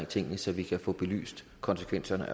tingene så vi kan få belyst konsekvenserne